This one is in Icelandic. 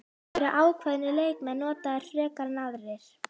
Eru ákveðnir leikmenn notaðir frekar en aðrir?